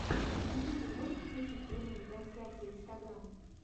на ютьюбе можешь включить прямые трансляции инстаграм